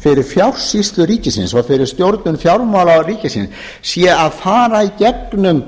fyrir fjársýslu ríkisins og fyrir stjórnun fjármála ríkisins sé að fara í gegnum